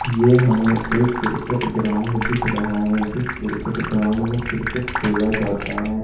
ये हमे एक क्रिकेट ग्राउंड दिख रहा है जिस क्रिकेट ग्राउंड मे क्रिकेट खेला जाता है।